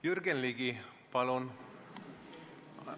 Jürgen Ligi, palun!